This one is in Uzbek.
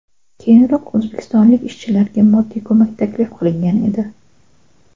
Keyinroq o‘zbekistonlik ishchilarga moddiy ko‘mak taklif qilingan edi .